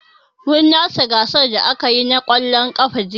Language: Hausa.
Mun lashe gasar da aka yi na ƙwallon ƙafa jiya.